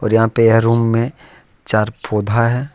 यहां पे यह रूम में चार पौधा है।